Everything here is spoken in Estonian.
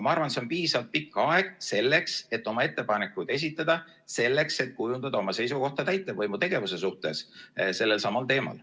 Ma arvan, et see on piisavalt pikk aeg selleks, et oma ettepanekuid esitada, selleks, et kujundada oma seisukohta täitevvõimu tegevuse suhtes sellelsamal teemal.